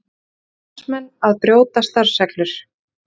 Sakar starfsmenn að brjóta starfsreglur